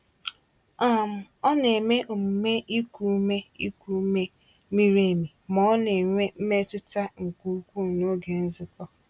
um Ọ na-eme omume iku ume iku ume miri emi ma ọ n'enwe mmetụta nke ukwuu n'oge nzukọ.